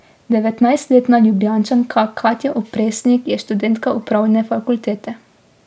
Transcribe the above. Devetnajstletna Ljubljančanka Katja Opresnik je študentka upravne fakultete.